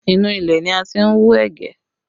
Inú ilẹ̀ ni a ti ń wú ẹ̀gẹ́